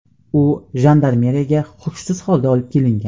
U jandarmeriyaga hushsiz holda olib kelingan.